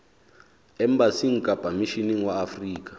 embasing kapa misheneng wa afrika